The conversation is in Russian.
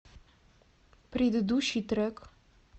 предыдущий трек